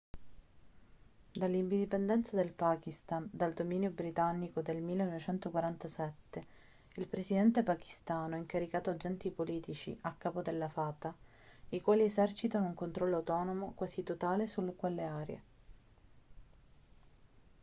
dall'indipendenza del pakistan dal dominio britannico del 1947 il presidente pachistano ha incaricato agenti politici a capo delle fata i quali esercitano un controllo autonomo quasi totale su quelle aree